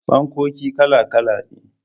Fankoki kala kala ne.